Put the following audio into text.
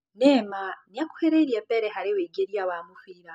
Neymar nĩakuhĩrĩirie Pele harĩ wũingĩria wa mũbira